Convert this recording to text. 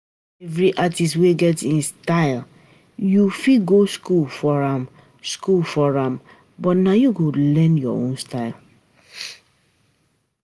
Every artist wey get im um style, you fit go school for am school for am but na you go learn your own style.